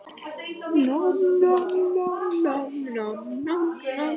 Heimir Meir: Munt þú ræða það kannski við drottninguna að skila fleiri handritum?